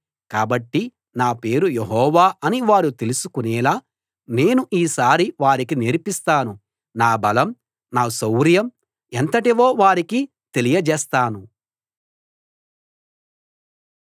కాబట్టి నా పేరు యెహోవా అని వారు తెలుసుకునేలా నేను ఈసారి వారికి నేర్పిస్తాను నా బలం నా శౌర్యం ఎంతటివో వారికి తెలియజేస్తాను